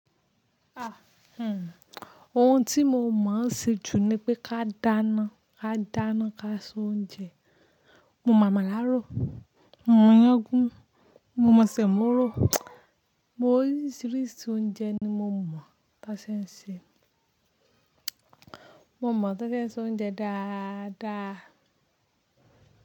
Ah hmmm ohun tí mo mọ̀ ṣe jù ni pé ká dáná, ká dáná, ká sọ oúnjẹ. Mo mọ̀ àmàlà ró, mo mọ̀ iyán gún, mo mọ̀ sẹ̀mọ́ ró. Mo rí oríṣìíríṣìí oúnjẹ ni mo mọ̀ bá ṣe ń ṣe. Mo mọ̀ bá ṣe ń ṣe oúnjẹ dáadáa.